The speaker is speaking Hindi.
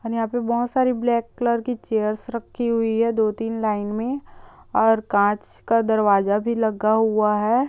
हमे यहां पे बहुत सारी ब्लैक कलर की चेयर्स राखी हुई हैं दो तीन लाइन मे और कांच का दरवाजा भी लगा हुआ है।